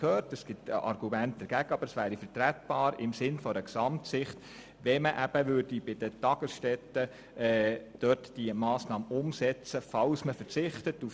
Sicher gibt es auch – wie wir vorhin gehört haben – Argumente dagegen, aber unser Vorgehen ist im Sinne einer Gesamtsicht vertretbar.